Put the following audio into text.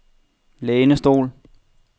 lænestol